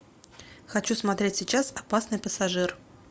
хочу смотреть сейчас опасный пассажир